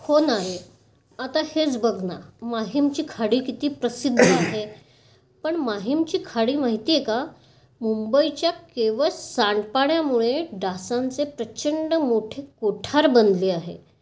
हो ना रे. आता हेच बघ ना. माहीमची खाडी किती प्रसिद्ध आहे. पण माहीमची खाडी माहितीये का मुंबईच्या केवळ सांडपाण्यामुळे डासांचे प्रचंड मोठे कोठार बनले आहे.